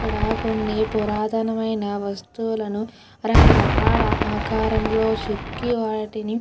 ఇక్కడ కొన్ని పురాతనమైన వస్తువులను రకరకాల ఆకారంలో చెక్కి వాటిని --